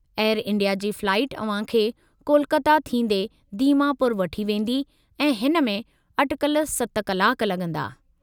Air India जी flight अव्हां खे कोलकाता थींदे दीमापुर वठी वेंदी ऐं हिन में अटिकल 7 कलाक लॻंदा।